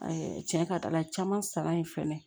cɛn ka di ala ye caman sara yen fɛnɛ